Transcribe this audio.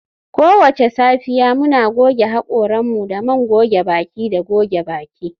Kowace safiya, muna goge haƙoranmu da man goge baki da goge baki